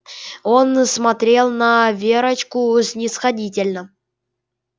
он смотрел на верочку снисходительно